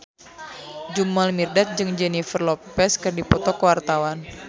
Jamal Mirdad jeung Jennifer Lopez keur dipoto ku wartawan